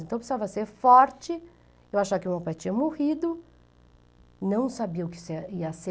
Então, eu precisava ser forte, eu achava que o meu pai tinha morrido, não sabia o que se, ia ser.